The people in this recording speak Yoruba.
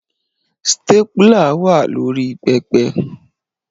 Stapler wà lórí pẹpẹ